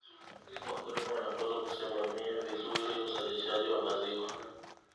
Wakulima wanapaswa kusimamia vizuri uzalishaji wa maziwa.